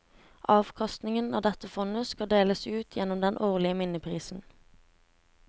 Avkastningen av dette fondet skal deles ut gjennom den årlige minneprisen.